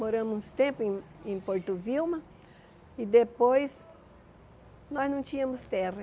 Moramos um tempo em em Porto Vilma e depois nós não tínhamos terra.